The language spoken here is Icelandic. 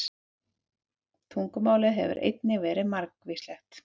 Tungumálið hefur einnig verið margvíslegt.